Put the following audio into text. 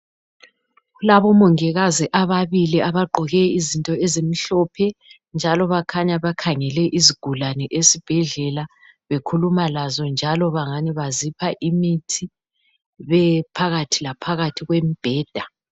Kulabomongikazi ababili abagqoke izinto ezimhlophe. Njalo bakhanya bakhangele izigulane esibhedlela bekhuluma lazo njalo bangani bazipha imithi, bephakathi laphakathi kwembheda.